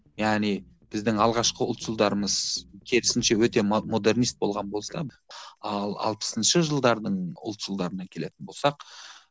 яғни біздің алғашқы ұлтшылдарымыз керісінше өте модернист болған болса ал алпысыншы жылдардың ұлтшылдарына келетін болсақ